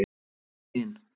Við og hin